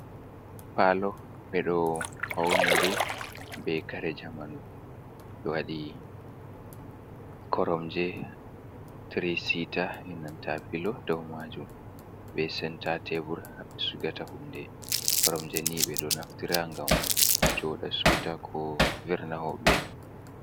Palo ɓeɗo faunidu be kare jamanu, ɗo waɗi koromje, tirisita, enanta pilo dow majum be senta tebur ha sigata hunde koromje ni beɗo naftira ngam joda siwta, ko verna hoɓɓe.